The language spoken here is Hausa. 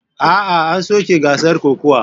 A'a, an soke gasar kokawa.